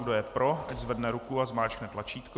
Kdo je pro, ať zvedne ruku a zmáčkne tlačítko.